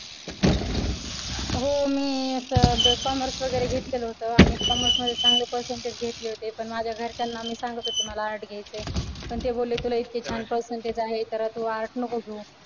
हो मी असं commerce वगैरे घेतलेलं होतं आणि commerce मध्ये चांगले percentege घेतले होते पण माझ्या घरच्यांना मी सांगत होते मला arts घ्यायचय पण ते बोलले तुला इतके छान percentage आहे तर तु arts नको घेऊ.